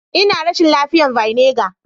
Ina rashin lafiyar vinegar.